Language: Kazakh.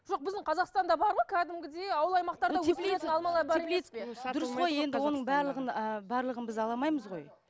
жоқ біздің қазақстанда бар ғой кәдімгідей ауыл аймақтарда оның барлығын ы барлығын біз ала алмаймыз ғой